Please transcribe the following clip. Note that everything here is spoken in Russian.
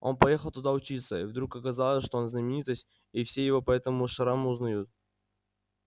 он поехал туда учиться и вдруг оказалось что он знаменитость и все его по этому шраму узнают